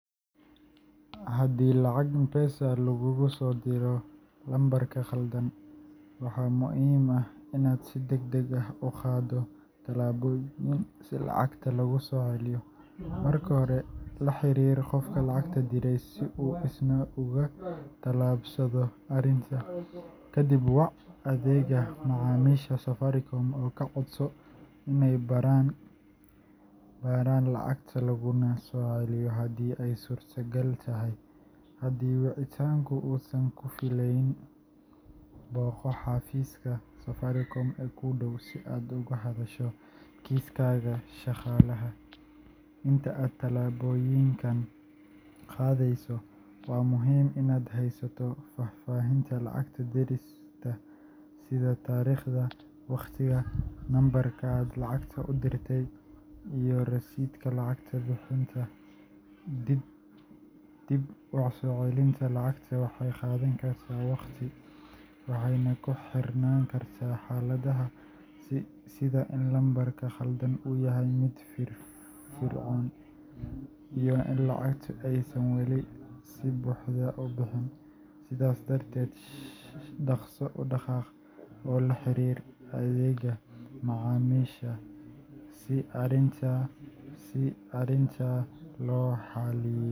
Haddii lacag M-Pesa laguugu soo diro lambarka khaldan, waxaa muhiim ah inaad si degdeg ah u qaado tallaabooyin si lacagta loogu soo celiyo. Marka hore, la xiriir qofka lacagta diray si uu isna uga tallaabsado arrinta. Kadib, wac adeegga macaamiisha Safaricom oo ka codso inay baaraan lacagta laguna soo celiyo haddii ay suurtagal tahay. Haddii wicitaanku uusan ku filneyn, booqo xafiiska Safaricom ee kuu dhow si aad uga hadasho kiiskaaga shaqaalaha. Inta aad tallaabooyinkan qaadeyso, waa muhiim inaad haysato faahfaahinta lacag dirista sida taariikhda, waqtiga, lambarka aad lacagta u dirtay, iyo rasiidka lacag bixinta. Dib u soo celinta lacagta waxay qaadan kartaa waqti, waxayna ku xirnaan kartaa xaaladaha sida in lambarka khaldan uu yahay mid firfircoon iyo in lacagtu aysan weli si buuxda u bixin. Sidaas darteed, dhaqso u dhaqaaq oo la xiriir adeegga macaamiisha si arrinta loo xalliyo.